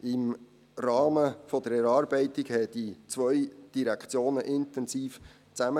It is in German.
Im Rahmen der Erarbeitung arbeiteten die zwei Direktionen intensiv zusammen.